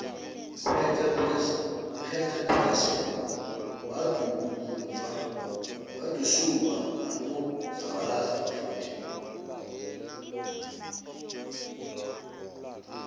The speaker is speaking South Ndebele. uhector peterson wadutsulwa nakuzabalaza abafundi